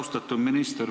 Austatud minister!